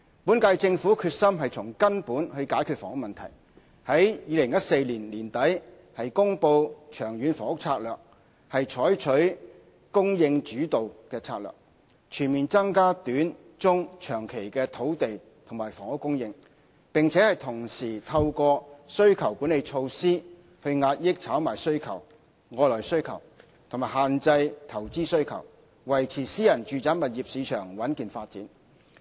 本屆政府決心從根本解決房屋問題，於2014年年底公布《長遠房屋策略》，採取"供應主導"策略，全面增加短、中、長期的土地和房屋供應；並同時透過"需求管理措施"遏抑炒賣需求、外來需求，以及限制投資需求，以維持私人住宅物業市場穩健發展。